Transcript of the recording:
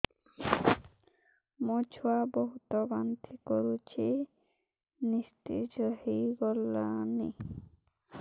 ମୋ ଛୁଆ ବହୁତ୍ ବାନ୍ତି କରୁଛି ନିସ୍ତେଜ ହେଇ ଗଲାନି